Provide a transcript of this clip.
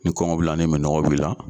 Ni kɔngɔ b'i la ni minɔgɔ b'i la.